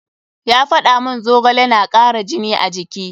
Ya faɗa mun zogale na kara jini a jiki.